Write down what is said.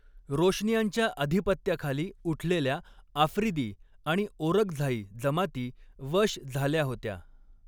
रोशनियांच्या अधिपत्याखाली उठलेल्या आफ्रिदी आणि ओरकझाई जमाती वश झाल्या होत्या.